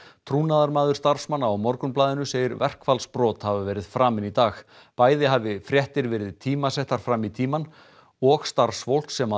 trúnaðarmaður starfsmanna á Morgunblaðinu segir verkfallsbrot hafa verið framin í dag bæði hafi fréttir verið tímasettar fram í tímann og starfsfólk sem